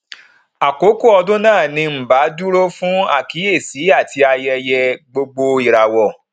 àkókò ọdún náà ni nba dúró fún àkíyèsí àti ayẹyẹ gbogboìràwọ